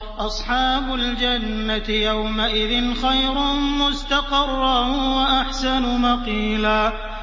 أَصْحَابُ الْجَنَّةِ يَوْمَئِذٍ خَيْرٌ مُّسْتَقَرًّا وَأَحْسَنُ مَقِيلًا